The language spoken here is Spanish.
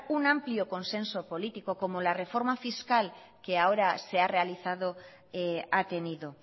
un amplio consenso político como la reforma fiscal que ahora se ha realizado ha tenido